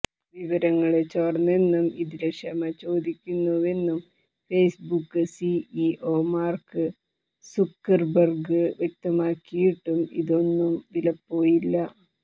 വിവരങ്ങള് ചോര്ന്നെന്നും ഇതില് ക്ഷമ ചോദിക്കുന്നുവെന്നും ഫേസ്ബുക്ക് സിഇഒ മാര്ക്ക് സുക്കര്ബര്ഗ് വ്യക്തമാക്കിയിട്ടും ഇതൊന്നും വിലപ്പോയില്ല